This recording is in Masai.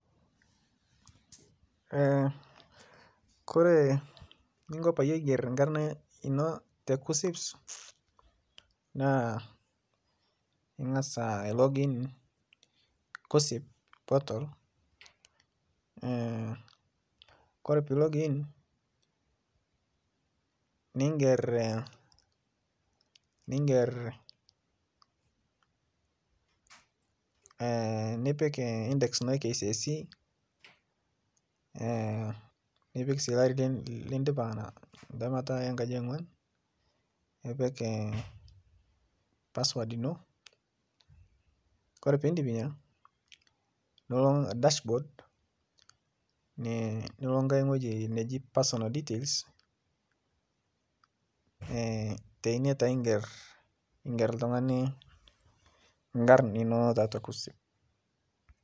Ore eninko pee ever enkarna eno tee kuups naa eng'as ilog in kuuos portal ore pee elogo in niger nipik index eno ee K.C.S.E nipik olari lidipa entemata enkaji eonguan nipik password eno ore pee edip ena nilo dashboard nilo ewueji nigero personal details teine taa ever oltung'ani enkarn enono tiatua kuupcs